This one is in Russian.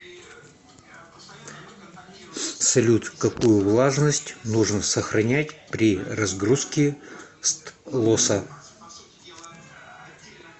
салют какую влажность нужно сохранять при разгрузке стлоса